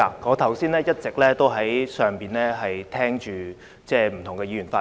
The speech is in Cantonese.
我剛才一直在上面聆聽不同議員的發言。